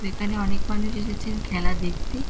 এখানে অনেকে মানুষ এসেছেন খেলা দেখতে--